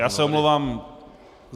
Já se omlouvám.